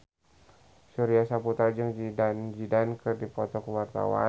Surya Saputra jeung Zidane Zidane keur dipoto ku wartawan